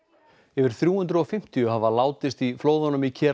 yfir þrjú hundruð og fimmtíu hafa látist í flóðunum í